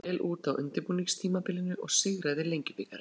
Liðið leit vel út á undirbúningstímabilinu og sigraði Lengjubikarinn.